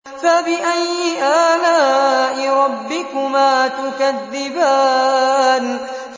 فَبِأَيِّ آلَاءِ رَبِّكُمَا تُكَذِّبَانِ